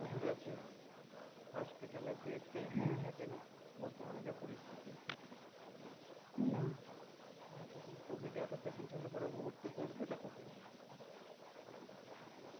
প্রচুর আছে hospital bed তো এমনি থাকে না, বর্তমানে যে পরিস্থিতি COVID এত patient হলে ভর্তি করবে টা কথায়